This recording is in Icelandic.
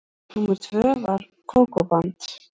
Númer tvö var Kókó-band.